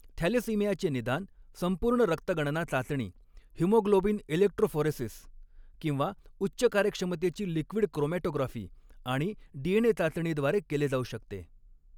थॅलेसिमियाचे निदान, संपूर्ण रक्त गणना चाचणी, हिमोग्लोबिन इलेक्ट्रोफोरेसीस किंवा उच्च कार्यक्षमतेची लिक्विड क्रोमॅटोग्राफी आणि डीएनए चाचणीद्वारे केले जाऊ शकते.